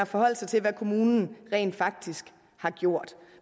forholdt sig til hvad kommunen rent faktisk har gjort